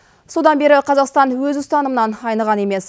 содан бері қазақстан өз ұстанымынан айныған емес